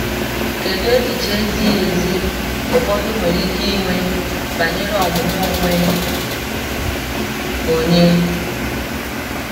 Kedu echiche ezighi ezi ụfọdụ nwere ike inwe banyere ọmụmụ onwe onye?